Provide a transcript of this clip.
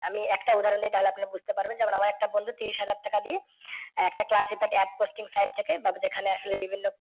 আমি একটা উদাহরন দিই তাহলে আপনারা বুঝতে পারবেন। যেমন আমার একটা বন্ধু তিরিশ হাজার টাকা দিয়ে একটা classified APP posting side থেকে বা যেখানে আসলে বিভিন্ন